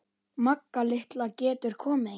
Magga litla getur komið hingað.